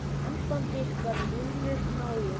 Samband ykkar Ninnu náið.